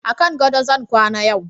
a kan gado zan kwana yau